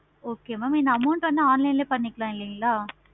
okay mam நீங்க amount வந்து online லையே பண்ணிக்கலாம் இல்லைங்களா